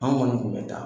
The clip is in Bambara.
An kɔni kun bɛ taa